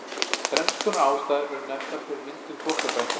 þrenns konar ástæður eru nefndar fyrir myndun þvottabretta